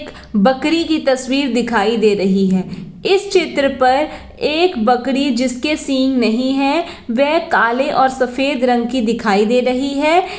एक बकरी की तस्वीर दिखाई दे रही है इस चित्र पर एक बकरी जिसके सिंह नहीं है वह काले और सफेद रंग की दिखाई दे रही है।